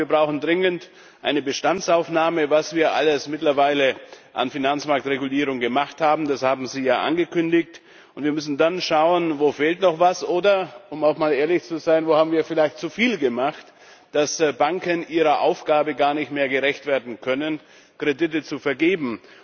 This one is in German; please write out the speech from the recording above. Wir brauchen dringend eine Bestandsaufnahme, was wir alles mittlerweile an Finanzmarktregulierung gemacht haben das haben Sie ja angekündigt und wir müssen dann schauen, wo noch etwas fehlt oder um auch mal ehrlich zu sein wo wir vielleicht zu viel gemacht haben, sodass Banken ihrer Aufgabe gar nicht mehr gerecht werden können, Kredite zu vergeben.